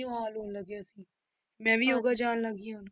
ਹਾਲ ਹੋਣ ਲੱਗ ਗਿਆ ਮੈਂ ਵੀ ਯੋਗਾ ਜਾਣ ਲੱਗ ਗਈ ਹਾਂ।